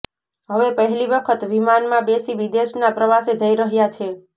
હવે પહેલી વખત વિમાનમાં બેસી વિદેશના પ્રવાસે જઈ રહ્યા છે